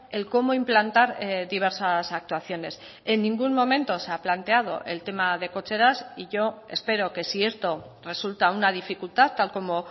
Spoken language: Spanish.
el cómo implantar diversas actuaciones en ningún momento se ha planteado el tema de cocheras y yo espero que si esto resulta una dificultad tal como